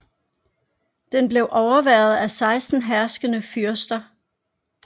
Den blev overværet af 16 herskende fyrster